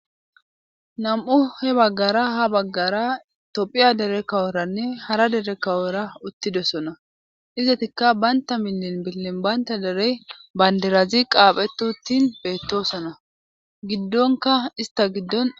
Nam'u he baggara ha baggara tophiya dere kaworanne hara dere kawora uttidessona izatikka baynta minlin billin baynta dere bandirazi qaaphetu uttin beettosona giddonka ista giddon